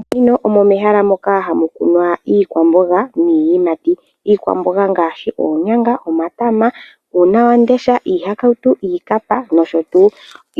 Moshikunino omo mehala moka hamu kunwa iikwamboga niiyimati. Iikwamboga ongaashi oonyanga, omatama, uunawamundesha, iihakautu, iikapa nosho tuu.